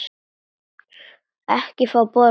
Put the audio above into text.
Ekki fá borga.